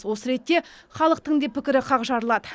осы ретте халықтың де пікірі қақ жарылады